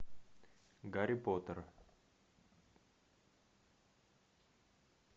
гарри поттер